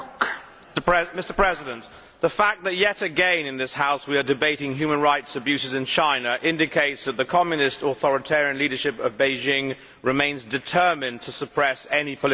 Mr President, the fact that yet again in this House, we are debating human rights abuses in China indicates that the Communist authoritarian leadership of Beijing remains determined to suppress any political dissent.